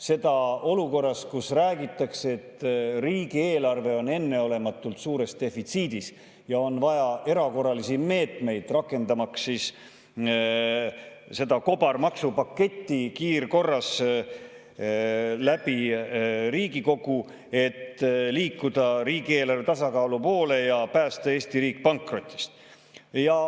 Seda olukorras, kus räägitakse, et riigieelarve on enneolematult suures defitsiidis ja on vaja erakorralisi meetmeid, seda kobarmaksupaketti kiirkorras Riigikogust läbi, et liikuda riigieelarve tasakaalu poole ja päästa Eesti riik pankrotist.